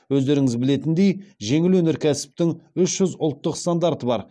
өздеріңіз білетіндей жеңіл өнеркәсіптің үш жүз ұлттық стандарты бар